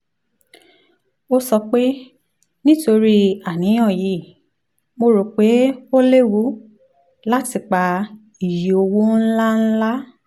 ó sọ pé nítorí àníyàn yìí mo rò pé ó léwu láti pa iye owó ńláńlá